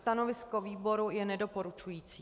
Stanovisko výboru je nedoporučující.